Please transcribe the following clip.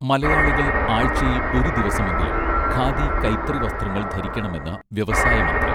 മലയാളികൾ ആഴ്ചയിൽ ഒരു ദിവസമെങ്കിലും ഖാദി കൈത്തറി വസ്ത്രങ്ങൾ ധരിക്കണമെന്ന് വ്യവസായ മന്ത്രി